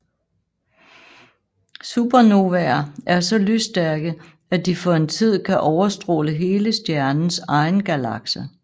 Supernovaer er så lysstærke at de for en tid kan overstråle hele stjernens egen galakse